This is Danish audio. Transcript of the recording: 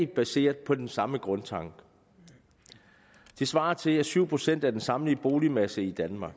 baseret på den samme grundtanke det svarer til syv procent af den samlede boligmasse i danmark